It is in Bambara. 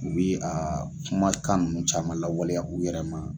U bɛ a kumakan ninnu caman lawaleya u yɛrɛ ma